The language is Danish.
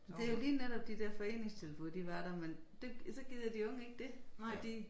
Det jo lige netop de der foreningstilbud de var der men det så gider de unge ikke dét og de